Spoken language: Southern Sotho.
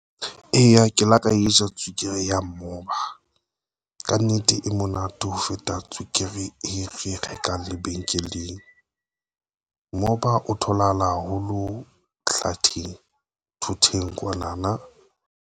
Eya, ke la ka e ja tswekere ya moba kannete e monate ho feta tswekere e re e rekang lebenkeleng moba o tholahala haholo flirting thoteng kwana na.